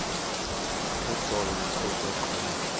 uhlolo luqhutywe qho